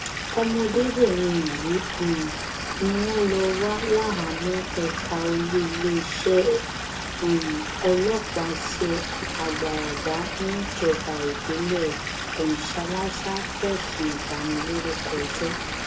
ọmọdébìnrin yìí um ni wọn lọ wà láhàámọ ẹka olú iléeṣẹ um ọlọpàá tse agbaragba níjọba ìbílẹ kọnshálásà fẹsùn ìbanilórúkọjẹ